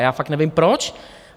A já fakt nevím proč.